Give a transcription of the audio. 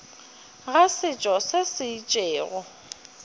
ga setšo se se itšego